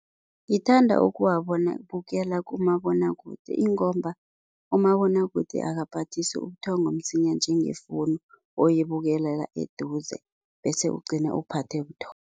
Ngithanda ukuwabukela kumabonwakude ingomba, umabonwakude akaphathisi ubuthongo msinya njengefowunu, oyibukelela eduze bese ugcina uphathe buthongo.